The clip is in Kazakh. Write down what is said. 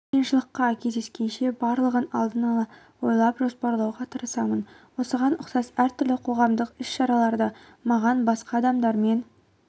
қиыншылыққа кездескенше барлығын алдын-ала ойлап жоспарлауға тырысамын осыған ұқсас әртүрлі қоғамдық іс шараларда маған басқа адамдармен